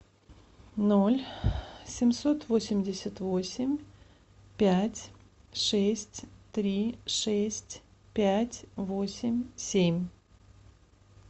ноль семьсот восемьдесят восемь пять шесть три шесть пять восемь семь